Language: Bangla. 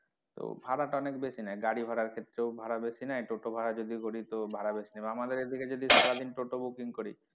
তো ভাড়া টা অনেক বেশি নেয় গাড়ি ভাড়ার খেত্রেও ভাড়া বেশি নেয় আর টোটো ভাড়া যদি করি তো ভাড়া বেশি নেবে আমাদের এদিকে যদি সারাদিন টোটো booking করি,